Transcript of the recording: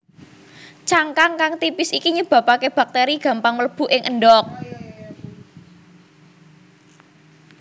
Cangkang kang tipis iki nyebabaké baktéri gampang mlebu ing endhog